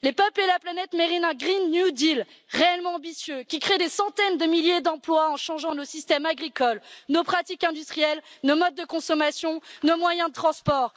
Les peuples et la planète méritent un nouveau pacte vert réellement ambitieux qui crée des centaines de milliers d'emplois en changeant nos systèmes agricoles, nos pratiques industrielles, nos modes de consommation et nos moyens de transport.